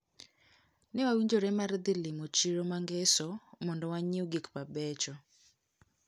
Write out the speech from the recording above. Newawinjore mar dhi limo chiro mangeso mondo wanyieu gikmabecho.